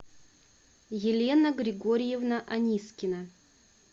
елена григорьевна анискина